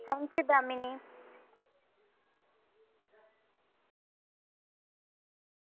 thank you Damini.